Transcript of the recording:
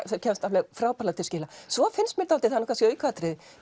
kemst alveg frábærlega til skila svo finnst mér dálítið það er kannski aukaatriði